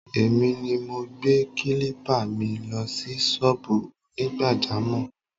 Èmi ni mo gbé kílípà mi lọ sí sọ́ọ̀bù Onigbajamọ̀